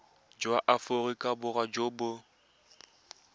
jwa aforika borwa jo bo